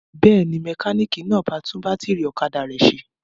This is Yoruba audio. Bẹ́ẹ̀ ni, mẹkáníkì náà ba tún bátírí ọ̀kadà rẹ̀ ṣe.